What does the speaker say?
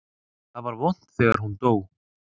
Það var vont þegar hún dó.